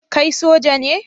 Kai Soja ne?